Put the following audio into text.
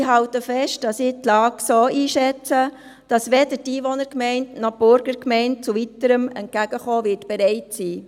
Ich halte fest, dass ich die Lage so einschätze, dass weder die Einwohnergemeinde noch die Burgergemeinde zu weiterem Entgegenkommen bereit sein werden.